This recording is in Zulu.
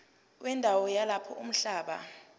wendawo yalapho umhlaba